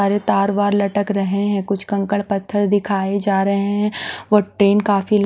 अरे तार वार लटक रहे हैं कुछ कंकड़ पत्थर दिखाए जा रहे हैं ओ ट्रेन काफी--